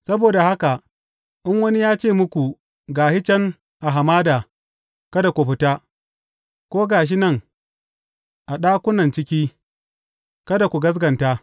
Saboda haka in wani ya ce muku, Ga shi can a hamada,’ kada ku fita; ko, Ga shi nan a ɗakunan ciki,’ kada ku gaskata.